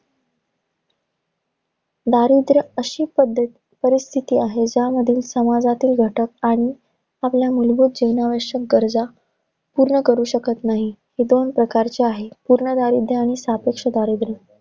दारिद्र्य अशी पद्धत~ परिस्थिती आहे, ज्यामधील समाजातील घटक आणि आपल्या मुलभूत जीवनावश्यक गरजा पूर्ण करू शकत नाही. हे दोन प्रकारची आहे. पूर्ण दारिद्र्य आणि सापेक्ष दारिद्र्य.